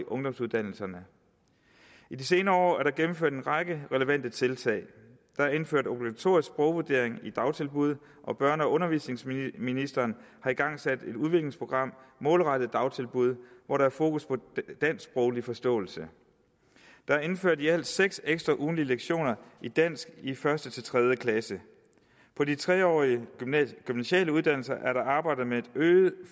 ungdomsuddannelserne i de senere år er der gennemført en række relevante tiltag der er indført obligatorisk sprogvurdering i dagtilbud og børne og undervisningsministeren har igangsat et udviklingsprogram målrettet dagtilbud hvor der er fokus på dansksproglig forståelse der er indført i alt seks ekstra ugentlige lektioner i dansk i første til tredje klasse på de tre årige gymnasiale uddannelser er der arbejdet med et øget